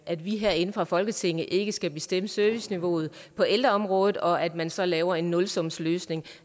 at vi herinde fra folketinget ikke skal bestemme serviceniveauet på ældreområdet og at man så laver en nulsumsløsning